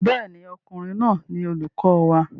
Bẹ́ẹ̀ ni, ọkùnrin náà ni olùkọ wa.